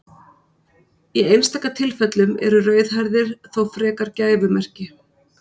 Í einstaka tilfellum eru rauðhærðir þó frekar gæfumerki.